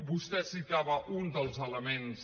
vostè citava un dels elements